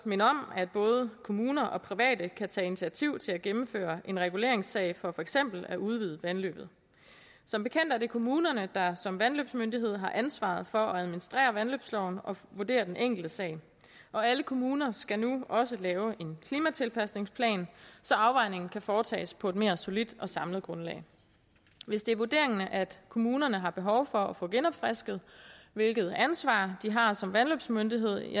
minde om at både kommuner og private kan tage initiativ til at gennemføre en reguleringssag for for eksempel at udvide vandløbet som bekendt er det kommunerne der som vandløbsmyndighed har ansvaret for at administrere vandløbsloven og vurdere den enkelte sag og alle kommuner skal nu også lave en klimatilpasningsplan så afvejningen kan foretages på et mere solidt og samlet grundlag hvis det er vurderingen at kommunerne har behov for at få genopfrisket hvilket ansvar de har som vandløbsmyndighed